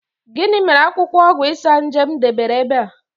Gini mere akwukwo ogwu Isanaje m debere ebe a?